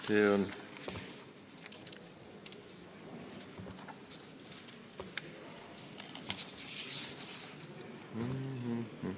See on ...